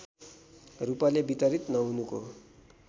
रूपले वितरित नहुनुको